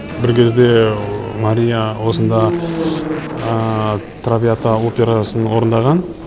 бір кезде мария осында травиата операсын орындаған